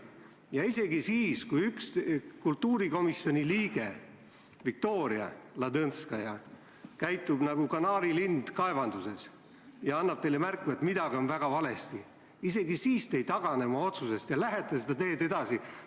Ja isegi siis, kui üks kultuurikomisjoni liige, Viktoria Ladõndskaja, käitub nagu kanaarilind kaevanduses ja annab teile märku, et midagi on väga valesti, isegi siis te ei tagane oma otsusest ja lähete seda teed edasi.